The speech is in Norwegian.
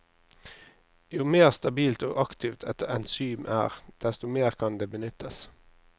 Jo mer stabilt og aktivt et enzym er, desto mer kan det benyttes.